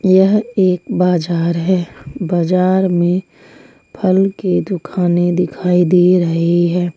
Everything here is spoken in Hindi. यह एक बाजार है बाजार में फल की दुकानें दिखाई दे रही है।